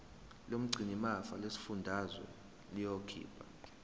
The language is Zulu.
lomgcinimafa lesifundazwe liyokhipha